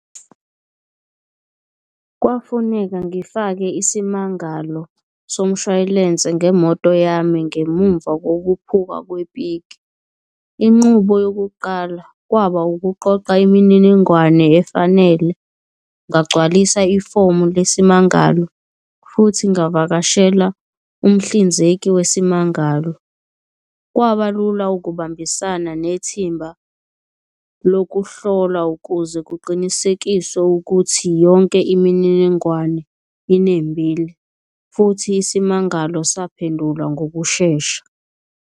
Kwafuneka ngifake isimangalo somshwalense ngemoto yami ngemumva kokuphuka kwepiki. Inqubo yokuqala kwaba ukuqoqa imininingwane efanele, ngagcwalisa ifomu lesimangalo futhi ngavakashela umhlinzeki wesimangalo. Kwaba lula ukubambisana nethimba lokuhlolwa ukuze kuqinisekiswe ukuthi yonke imininingwane inembile, futhi isimangalo saphendulwa ngokushesha.